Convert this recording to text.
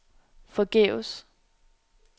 forgæves